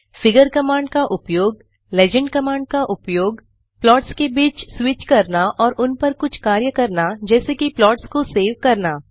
figure command का उपयोग legend command का उपयोग प्लॉट्स के बीच स्विच करना और उन पर कुछ कार्य करना जैसे कि प्लॉट्स को सेव करना